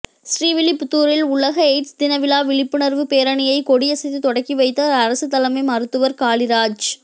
ஸ்ரீவில்லிபுத்தூரில் உலக எய்ட்ஸ் தினவிழா விழிப்புணா்வு பேரணியை கொடியசைத்து தொடக்கி வைத்தாா் அரசு தலைமை மருத்துவா் காளிராஜ்